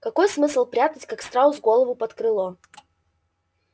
какой смысл прятать как страус голову под крыло